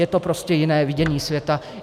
Je to prostě jiné vidění světa.